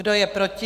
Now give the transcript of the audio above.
Kdo je proti?